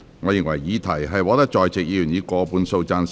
我認為議題獲得在席議員以過半數贊成。